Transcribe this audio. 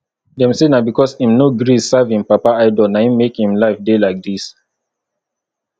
dem say na because im no gree serve im papa idol na im make im life dey like dis